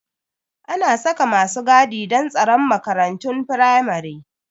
Ana saka masu gadi don tsaron makarantun firamare